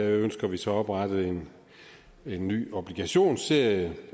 ønsker vi så oprettet en ny obligationsserie